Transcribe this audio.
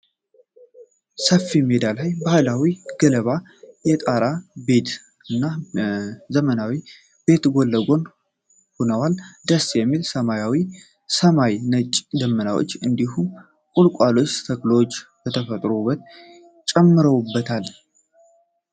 ሰፊ ሜዳ ላይ ባህላዊ ገለባ የጣራ ቤት እና ዘመናዊ ቤት ጎን ለጎን ሆነዋል። ደስ የሚል ሰማያዊ ሰማይና ነጫጭ ደመናዎች፣ እንዲሁም የቁልቋል ተክሎች የተፈጥሮን ውበት ጨምረውበታል።